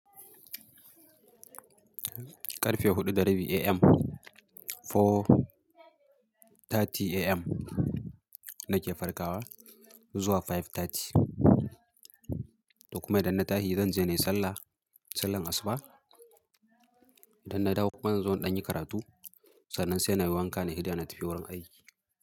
Karfe huɗu dari biyu AM, four thirty AM nake farkawa zuwa five thirty. Da kuma idan na tashi zan je nayi sallah, sallan asuba. Idan na dawo kuma zan zo in ɗanyi karatu. Sannan sai na yi wanka na yi idar na tafi wurin aiki.